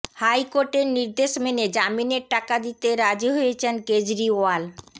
high কোর্টের নির্দেশ মেনে জামিনের টাকা দিতে রাজি হয়েছেন কেজরিওয়াল